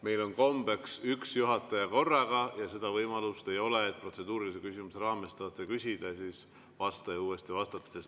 Meil on kombeks üks juhataja korraga ja seda võimalust ei ole, et protseduurilise küsimuse raames te tahate küsida ja vastaja saab uuesti vastata.